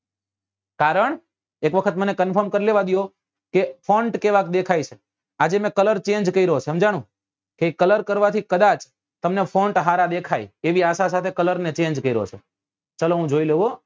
કારણ એક વખત મને confirm કર લેવા દો કે કેવા દેખાય છે આજે મેં કલર change કર્યો સમજાણું એ કલર કરવા થી કદાચ તમને હારા દેખાય એવી આશા સાથે મેં કલર change કર્યો છે ચલો હું જોઈ લઉં હો